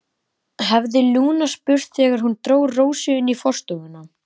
hafði Lúna spurt þegar hún dró Rósu inn í forstofuna.